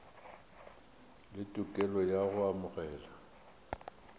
le tokelo ya go amogela